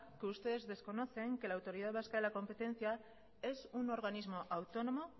que ustedes desconocen que la autoridad vasca de la competencia es un organismo autónomo